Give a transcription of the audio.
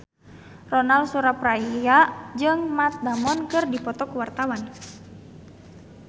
Ronal Surapradja jeung Matt Damon keur dipoto ku wartawan